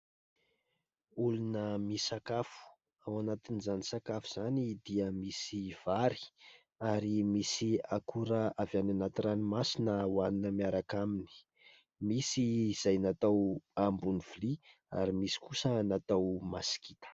Olona misakafo. Ao anatin'izany sakafo izany dia misy vary ary misy akora avy any anaty ranomasina ho hanina miaraka aminy. Misy izay natao ambony vilia ary misy kosa natao masikita.